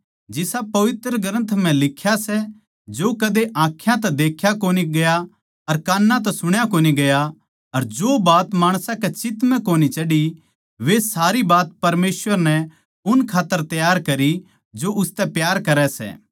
जिसा पवित्र ग्रन्थ म्ह लिख्या सै जो कदे आँखां तै देख्या कोनी गया अर कान तै सुण्या कोन्या गया अर जो बात माणसां के चित्त म्ह कोनी चढ़ी वै सारी बात परमेसवर नै उन खात्तर तैयार करी जो उसतै प्यार करै सै